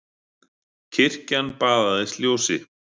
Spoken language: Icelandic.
Kirkjan baðaðist ljósi.